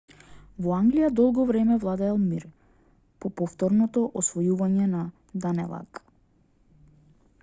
во англија долго време владеел мир по повторното освојување на данелаг